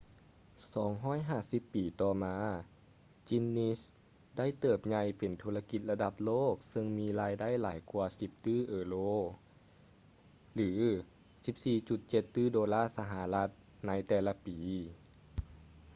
250 ປີຕໍ່ມາ guinness ໄດ້ເຕີບໃຫຍ່ເປັນທຸລະກິດລະດັບໂລກເຊິ່ງມີລາຍໄດ້ຫຼາຍກວ່າ 10 ຕື້ເອີໂຣ 14,7 ຕື້ໂດລາສະຫະລັດ ໃນແຕ່ລະປີ